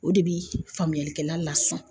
O de bi faamuyalikɛla lasɔn